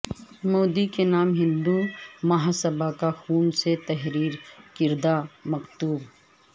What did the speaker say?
مودی کے نام ہندو مہاسبھا کا خون سے تحریر کردہ مکتوب